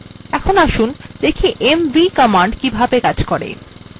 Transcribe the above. এখন আসুন দেখি mv command কিভাবে কাজ করে